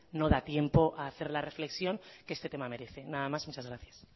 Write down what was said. no da tiempo a hacer la reflexión que este tema merece nada más muchas gracias